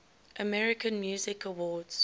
american music awards